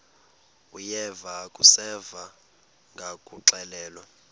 uyeva akuseva ngakuxelelwa